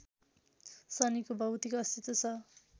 शनिको भौतिक अस्तित्व छ